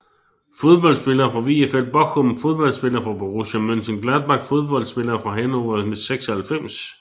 Fodboldspillere fra VfL Bochum Fodboldspillere fra Borussia Mönchengladbach Fodboldspillere fra Hannover 96